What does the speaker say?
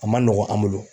A ma nɔgɔn an bolo